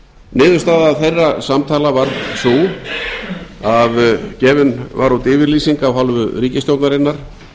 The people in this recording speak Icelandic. niðurstaða þeirra samtala hvað sú að gefin var út yfirlýsing af hálfu ríkisstjórnarinnar